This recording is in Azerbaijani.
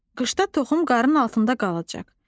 Qışda toxum qarın altında qalacaq.